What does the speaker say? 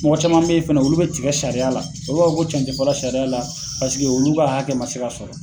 Mɔgɔ caman be ye fɛnɛ olu be tigɛ sariya la olu b'a fɔ ko cɛn te fɔ la sariya la paseke olu k'a hakɛ ma se ka sɔrɔ